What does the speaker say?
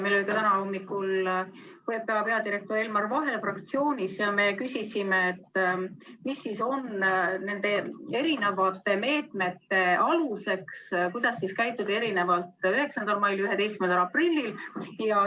Meil oli täna hommikul PPA peadirektor Elmar Vaher fraktsioonis ja me küsisime, mis siis on nende erinevate meetmete aluseks, miks käituti erinevalt 9. mail ja 11. aprillil.